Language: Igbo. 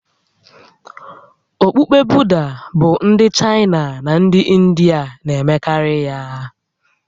Okpukpe Buda bụ ndị Chaịna na ndị Indịa na-emekarị ya